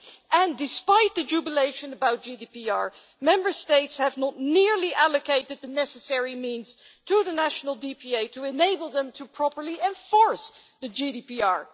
And despite the jubilation about GDPR, Member States have not nearly allocated the necessary means to the national data protection authorities to enable them to properly enforce the GDPR.